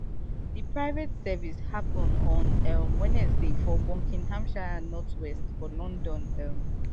di private service happun on um wednesday for buckinghamshire northwest for london um